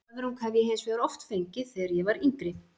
Höfrung hef ég hins vegar oft fengið þegar ég var yngri.